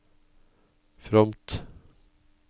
fromt